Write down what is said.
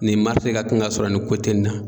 Nin ka kan ka sɔrɔ nin nin na.